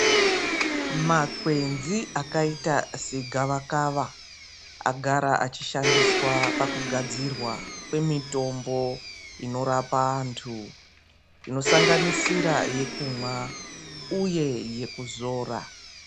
Makwenzi akaita segavakava agara echishandiswa pakugadzirwa kwemitombo inorapa antu, inosanganisira yekumwa uye yekuzora.